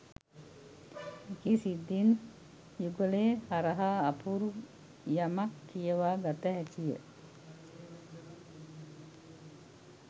මෙකී සිද්ධීන් යුගලය හරහා අපූරු යමක් කියවා ගත හැකිය.